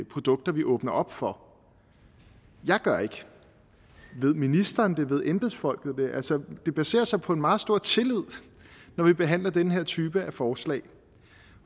produkter vi åbner op for jeg gør ikke ved ministeren det ved embedsfolkene det altså det baserer sig på en meget stor tillid når vi behandler denne type forslag